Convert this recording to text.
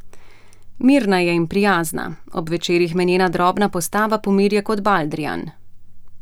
Mirna je in prijazna, ob večerih me njena drobna postava pomirja kot baldrijan.